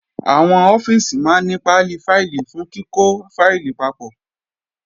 Àwọn ọ́fíìsì máa ní pálí fáìlì fún kíkọ́ fáìlì papọ̀